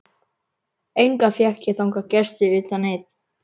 Enga fékk ég þangað gesti utan einn.